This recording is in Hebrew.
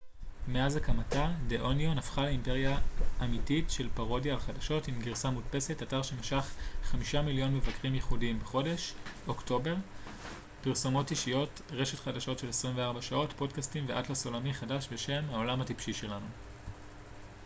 "מאז הקמתה "דה אוניון" הפכה לאימפריה אמתית של פרודיה על חדשות עם גרסה מודפסת אתר שמשך 5,000,000 מבקרים ייחודיים בחודש אוקטובר פרסומות אישיות רשת חדשות של 24 שעות פודקאסטים ואטלס עולמי חדש בשם "העולם הטיפשי שלנו"".